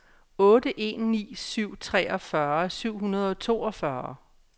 otte en ni syv treogfyrre syv hundrede og toogfyrre